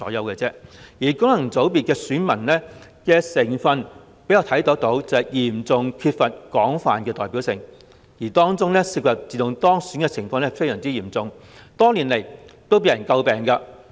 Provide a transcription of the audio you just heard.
功能界別的選民成分嚴重缺乏廣泛代表性，自動當選的情況亦非常普遍，多年來均為人詬病。